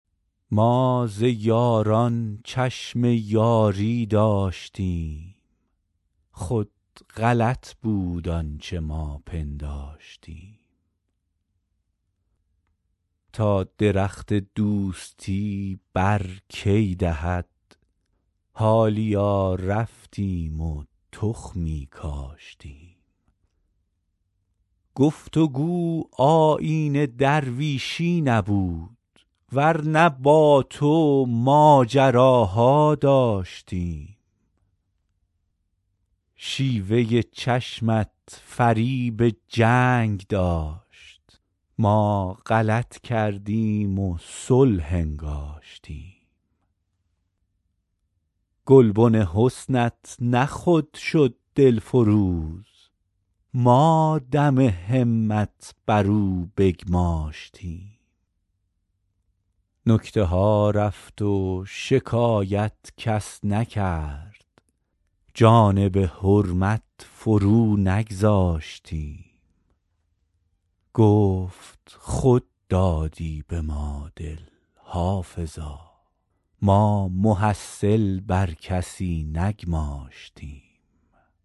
ما ز یاران چشم یاری داشتیم خود غلط بود آنچه ما پنداشتیم تا درخت دوستی بر کی دهد حالیا رفتیم و تخمی کاشتیم گفت و گو آیین درویشی نبود ور نه با تو ماجراها داشتیم شیوه چشمت فریب جنگ داشت ما غلط کردیم و صلح انگاشتیم گلبن حسنت نه خود شد دلفروز ما دم همت بر او بگماشتیم نکته ها رفت و شکایت کس نکرد جانب حرمت فرو نگذاشتیم گفت خود دادی به ما دل حافظا ما محصل بر کسی نگماشتیم